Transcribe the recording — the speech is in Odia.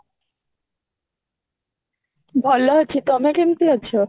ଭଲ ଅଛି ତମେ କେମତି ଅଛ